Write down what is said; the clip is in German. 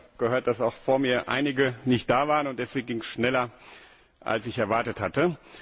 Ich habe gehört, dass auch vor mir einige nicht da waren und deswegen ging es schneller, als ich erwartet hatte.